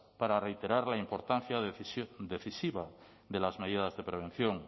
para reiterar la importancia decisiva de las medidas de prevención